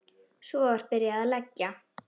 Svo var byrjað að leggja.